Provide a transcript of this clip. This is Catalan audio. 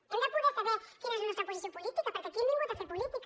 hem de poder saber quina és la nostra posició política perquè aquí hem vingut a fer política